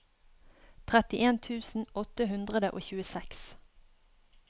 trettien tusen åtte hundre og tjueseks